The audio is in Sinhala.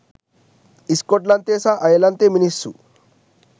ස්කොට්ලන්තයේ සහ අයර්ලන්තයේ මිනිස්සු